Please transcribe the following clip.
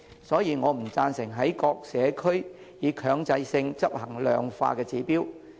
所以，我不贊成在各社區強制性執行量化的指標。